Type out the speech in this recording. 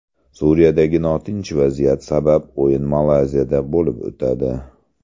Suriyadagi notinch vaziyat sabab o‘yin Malayziyada bo‘lib o‘tadi.